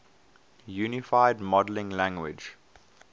unified modeling language